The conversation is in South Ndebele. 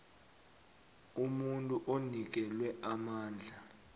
umuntu onikelwe amandla